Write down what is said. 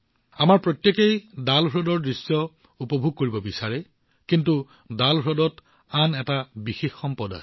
আমি সকলোৱে ডাল হ্ৰদৰ দৃশ্য উপভোগ কৰিব বিচাৰো অৱশ্যে ডাল হ্ৰদৰ বিষয়ে আৰু এটা বিশেষ কথা আছে